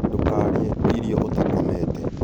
Ndũkarĩe irio ũtakomete